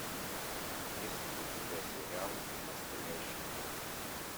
есть ли у тебя сериал настоящий детектив